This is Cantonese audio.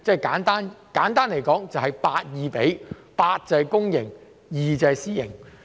簡單來說，就是 8：2，8 是公營 ，2 是私營。